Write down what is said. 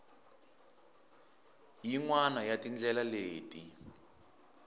yin wana ya tindlela leti